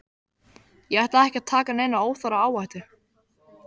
Ég ætla ekki að taka neina óþarfa áhættu,